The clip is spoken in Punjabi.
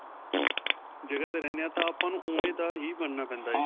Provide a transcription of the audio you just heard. ਜਗ੍ਹਾ ਤੇ ਰਹਿਨੇ ਹਾਂ ਤਾਂ ਆਪਾਂ ਨੂੰ ਉਂਵੇਂ ਦਾ ਹੀ ਬਣਨਾ ਪੈਂਦਾ ਹੈ.